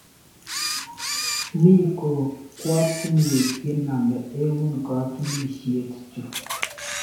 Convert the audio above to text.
Mi kokwatinwek che name eut katunisyek chu